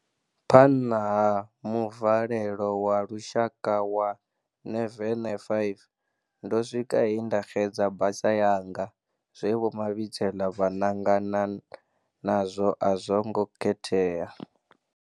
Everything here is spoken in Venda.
Phanṅa ha muvalelo wa lushaka wa ṅeveṅe 5, ndo swika he nda xedza basa yanga. Zwe Vho Mabitsela vha ṅangana nazwo a zwo ngo khethea.